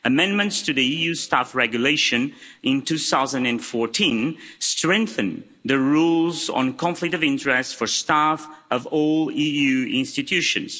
Amendments to the EU's Staff Regulation in 2014 strengthened the rules on conflicts of interest for staff of all EU institutions.